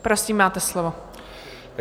Prosím, máte slovo.